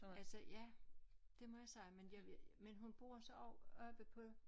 Altså ja det må jeg sige men jeg vil men hun bor så oppe på